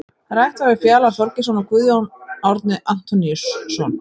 Rætt var við Fjalar Þorgeirsson og Guðjón Árni Antoníusson.